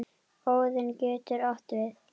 Óðinn getur átt við